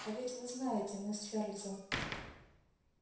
а ведь вы знаете мы с чарлзом